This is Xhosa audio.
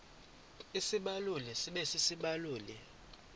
isibaluli sibe sisibaluli